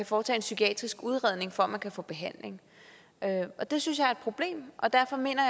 foretage en psykiatrisk udredning for at man kan få behandling det synes jeg er et problem og derfor mener